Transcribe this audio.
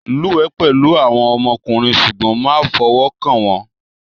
Lúwẹ̀ẹ́ pẹ̀lú àwọn ọmọkùnrin ṣùgbọ́n má fọwọ́ kàn wọ́n